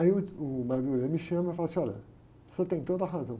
Aí uh, o me chama e fala assim, olha, você tem toda a razão.